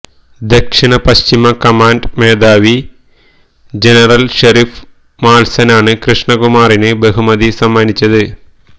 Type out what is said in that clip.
ദക്ഷിണ പശ്ചിമ കമാൻഡ് മേധാവി ജനറൽ ചെറിഷ് മാത്സനാണ് കൃഷ്ണകുമാറിന് ബഹുമതി സമ്മാനിച്ചത്